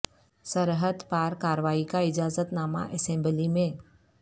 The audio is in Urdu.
سرحد پار کاروائی کا اجازت نامہ اسمبلی میں